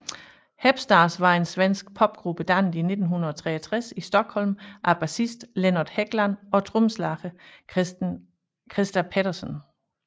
Hep Stars var en svensk popgruppe dannet i 1963 i Stockholm af basisten Lennart Hegland og trommeslageren Christer Pettersson